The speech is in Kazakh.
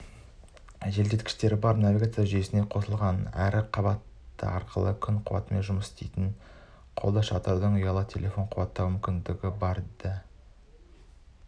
желдеткіші бар навигация жүйесі қосылған әрі қабаты арқылы күн қуатымен жұмыс істейтін қолшатырдың ұялы телефон қуаттау мүмкіндігі де бар